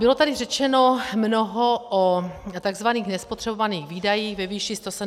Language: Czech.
Bylo tady řečeno mnoho o tzv. nespotřebovaných výdajích ve výši 170 mld.